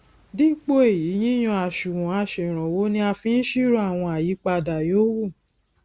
dipo eyi yíyan àṣùwòn aseranwo ni a fi n siro awon ayipada yoowu